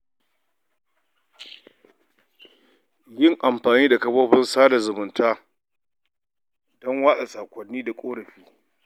Yin amfani da kafafen sada zumunta don watsa saƙonni na ƙorafi.